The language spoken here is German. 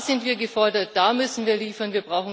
Da sind wir gefordert, da müssen wir liefern.